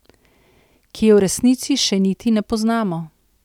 Ki je v resnici še niti ne poznamo.